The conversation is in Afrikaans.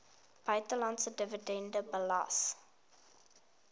buitelandse dividende belas